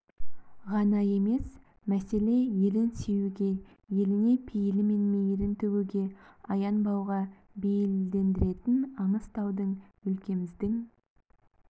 ғана емес мәселе елін сүюге еліне пейілі мен мейірін төгуге аянбауға бейілдендіретін аңыз таудың өлкеміздің